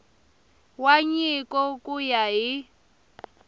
wa nyiko ku ya hi